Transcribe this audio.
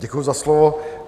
Děkuji za slovo.